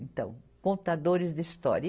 Então, contadores de história.